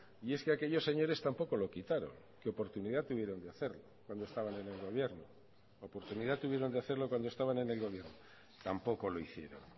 y es que aquellos señores tampoco lo quitaron que oportunidad tuvieron de hacerlo cuando estaban en el gobierno oportunidad tuvieron de hacerlo cuando estaban en el gobierno tampoco lo hicieron